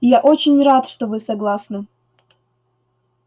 я очень рад что вы согласны